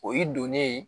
O y'i donnen ye